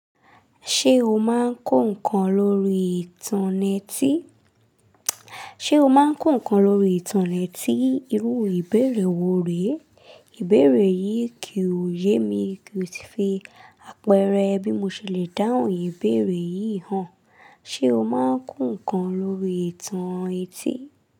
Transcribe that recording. Ṣé o máa ń kọ ǹkan lórí ìtàn netí? Ṣé o máa ń kọ ǹkan lórí ìtàn netí? Irú ìbéèrè wo rèé? Ìbéèrè yìí kì ò yé mi ko ti fi àpẹẹrẹ bí mo ṣe le dáhùn ìbéèrè yìí hàn. Ṣé o máa ń kọ ǹkan lórí ìtàn etí?